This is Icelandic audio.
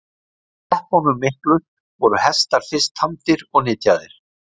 Á steppunum miklu voru hestar fyrst tamdir og nytjaðir.